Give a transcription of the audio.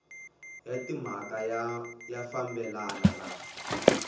ya timhaka ya fambelana na